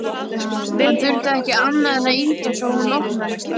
Hann þurfti ekki annað en ýta á svo hún opnaðist.